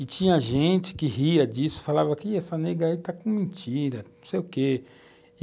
E tinha gente que ria disso, falava que essa negra está com mentira, não sei o quê.